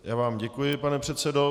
Já vám děkuji, pane předsedo.